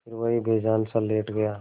फिर वहीं बेजानसा लेट गया